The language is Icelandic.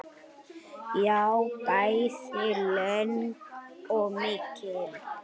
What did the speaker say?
Já, bæði löng og mikil.